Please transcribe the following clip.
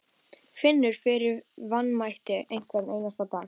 Finnur fyrir vanmætti hvern einasta dag.